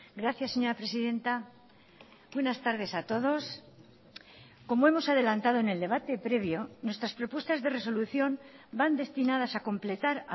gracias señora presidenta buenas tardes a todos como hemos adelantado en el debate previo nuestras propuestas de resolución van destinadas a completar